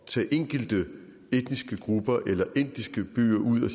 tage enkelte etniske grupper eller byer ud og